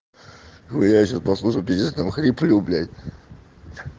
ну я сейчас послушал я там пиздец хрипю блядь